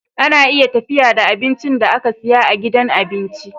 Ana iya tafiya da abincin da aka siya a gidan abinci